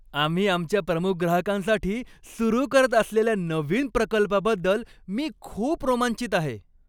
आम्ही आमच्या प्रमुख ग्राहकांसाठी सुरू करत असलेल्या नवीन प्रकल्पाबद्दल मी खूप रोमांचित आहे.